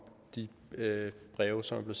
de breve som